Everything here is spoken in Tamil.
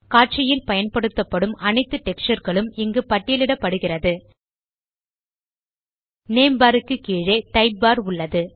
காட்சியில் பயன்படுத்தப்படும் அனைத்து டெக்ஸ்சர் களும் இங்கு பட்டியலிடப்படுகிறது நேம் பார் க்கு கீழே டைப் பார் உள்ளது